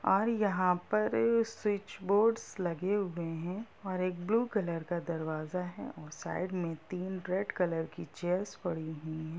और यहां पर स्विच बोर्डस् लगे हुए हैं और एक ब्लू कलर का दरवाजा है और साइड में तीन रेड कलर की चेयर्स पड़ी हुई हैं।